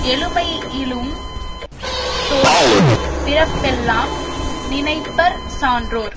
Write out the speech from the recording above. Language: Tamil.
எழுமை யிலுந் தோற்றும் பிறப்பெல்லாம் நினைப்பர் சான்றோர்